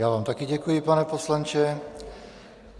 Já vám také děkuji, pane poslanče.